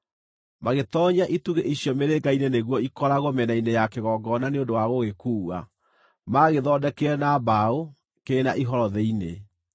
Magĩtoonyia itugĩ icio mĩrĩnga-inĩ nĩguo ikoragwo mĩena-inĩ ya kĩgongona nĩ ũndũ wa gũgĩkuua. Maagĩthondekire na mbaũ, kĩrĩ na ihoro thĩinĩ.